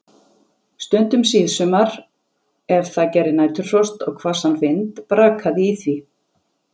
Stundum síðsumars, ef það gerði næturfrost og hvassan vind, brakaði í því.